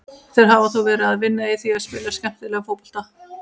Þeir hafa þó verið að vinna í því að spila skemmtilegri fótbolta.